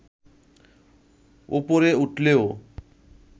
ওপরে উঠলেও